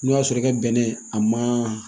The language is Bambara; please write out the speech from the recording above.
N'o y'a sɔrɔ i ka bɛnɛ a ma